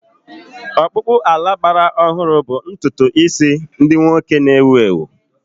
Ọkpụkpụ ala gbara ọhụrụ bụ ntutu isi ndị nwoke na-ewu ewu.